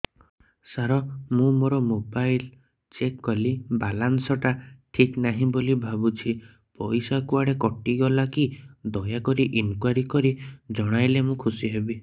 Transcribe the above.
ସାର ମୁଁ ମୋର mobile check କଲି ବାଲାନ୍ସ ଟା ଠିକ ନାହିଁ ବୋଲି ଭାବୁଛି ପଇସା କୁଆଡେ କଟି ଗଲା କି ଦୟାକରି ଇନକ୍ୱାରି କରି ଜଣାଇଲେ ମୁଁ ଖୁସି ହେବି